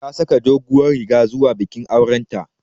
Ta saka doguwar riga zuwa bikin auren ta